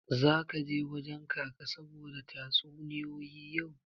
Zaka je wajen Kaka saboda tatsuniyoyi yau?